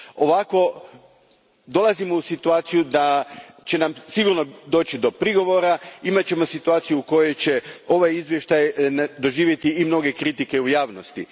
Ovako dolazimo u situaciju da će nam sigurno doći do prigovora, imat ćemo situaciju u kojoj će ovaj izvještaj doživjeti i mnoge kritike u javnosti.